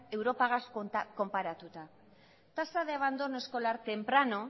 europagaz konparatuta tasa de abandono escolar temprano